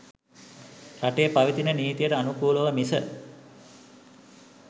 රටේ පවතින නීතියට අනුකූලව මිස